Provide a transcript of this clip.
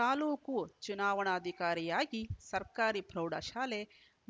ತಾಲೂಕು ಚುನಾವಣಾಧಿಕಾರಿಯಾಗಿ ಸರ್ಕಾರಿ ಪ್ರೌಢಶಾಲೆ